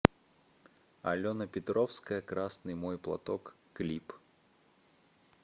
алена петровская красный мой платок клип